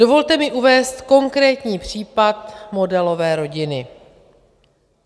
Dovolte mi uvést konkrétní případ modelové rodiny.